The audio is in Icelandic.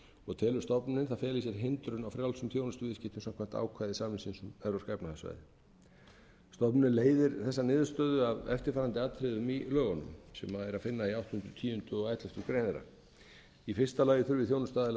og telur stofnunin að það feli í sér hindrun á frjálsum þjónustuviðskiptum samkvæmt ákvæðum samningsins um evrópska efnahagssvæðisins stofnunin leiðir þessa niðurstöðu af eftirfarandi atriðum í lögunum sem er að finna í áttunda tíunda og elleftu greinar þeirra fyrstu þjónustuaðili þurfi að